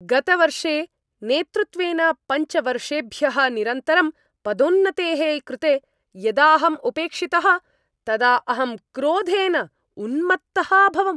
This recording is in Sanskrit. गतवर्षे नेतृत्वेन पञ्च वर्षेभ्यः निरन्तरं पदोन्नतेः कृते यदाहम् उपेक्षितः, तदा अहं क्रोधेन उन्मत्तः अभवम्।